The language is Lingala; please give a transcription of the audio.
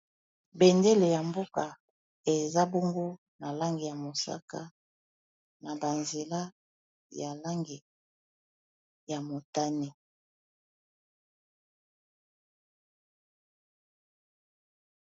Bendele ya mboka eza bongo na langi ya mosaka naba nzela ya lange ya motane.